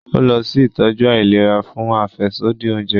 O lọ si itọju àìlera fún afẹsodi oúnjẹ